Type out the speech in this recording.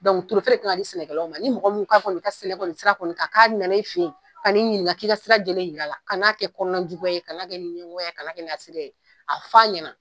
turuto de kan ka di sɛnɛkɛlaw ma, ni mɔgɔ min ka ka nan'i fen yen, ka n'i ɲininka k'i ka sira lajɛlen yira la, kana n'a kɛ kɔnɔnajuguya ye, kana kɛ ni ɲɛgoya ye, a kana kɛ ni hasidiya ye, a f'a ɲɛna.